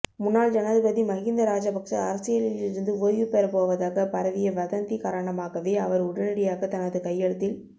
முன்னாள் ஜனாதிபதி மகிந்த ராஜபக்ச அரசியலில் இருந்து ஓய்வுபெறப் போவதாக பரவிய வதந்தி காரணமாகவே அவர் உடனடியாக தனது கையெழுத்தில்